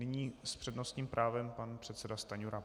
Nyní s přednostním právem pan předseda Stanjura.